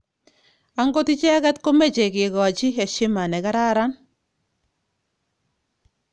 Angot icheket komeche kekachi heshima negararan.